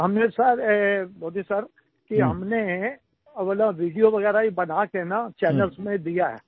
हमने sir Modi sir कि हमने अपना वीडियो वगैरह बना करके ना चैनल्स में दिया है